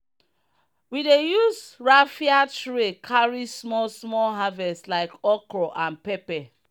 we dey use raffia tray carry small small harvest like okro and pepper.